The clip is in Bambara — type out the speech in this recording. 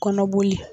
Kɔnɔboli